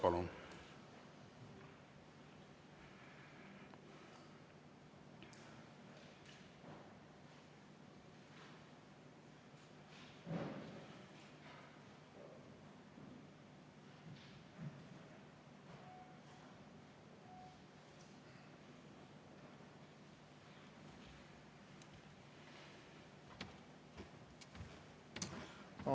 Palun!